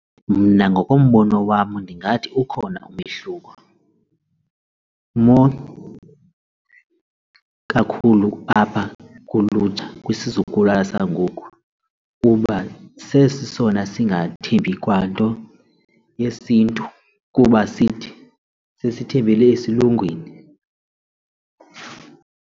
Mna ngokombono wam ndingathi ukhona umehluko more kakhulu apha kulutsha kwisizukulwana sangoku kuba sesona singathembi kwanto yesiNtu kuba sithi sesithembele esilungwini.